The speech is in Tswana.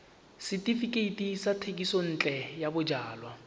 setefikeiti sa thekisontle ya bojalwa